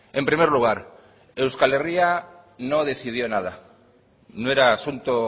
en primer lugar euskal herria no decidió nada no era asunto